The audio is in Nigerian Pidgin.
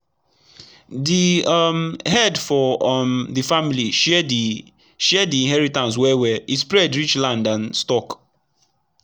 d um head for um d family share d share d inheritance well well e spread reach land and stock